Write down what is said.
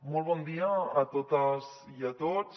molt bon dia a totes i a tots